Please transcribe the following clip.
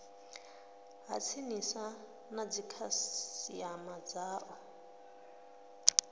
ha tsinisa na dzikhasiama dzao